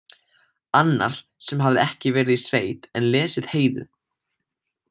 Annar sem hafði ekki verið í sveit en lesið Heiðu: